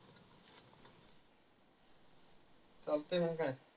चालतंय, मंग काय.